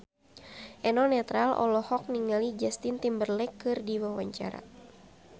Eno Netral olohok ningali Justin Timberlake keur diwawancara